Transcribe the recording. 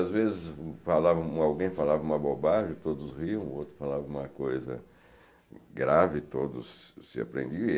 Às vezes, falavam alguém falava uma bobagem, todos riam, o outro falava uma coisa grave, todos se apreendiam.